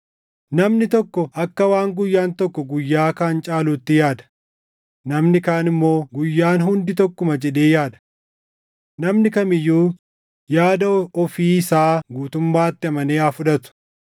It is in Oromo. Namni tokko akka waan guyyaan tokko guyyaa kaan caaluutti yaada; namni kaan immoo guyyaan hundi tokkuma jedhee yaada. Namni kam iyyuu yaada ofii isaa guutummaatti amanee haa fudhatu.